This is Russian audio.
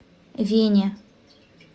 вене